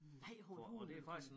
Nej for hulen da